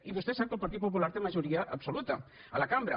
i vostè sap que el partit popular té majoria absoluta a la cambra